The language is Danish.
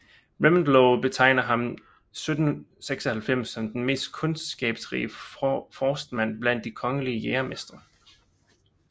Reventlow betegner ham 1796 som den mest kundskabsrige forstmand blandt de kongelige jægermestre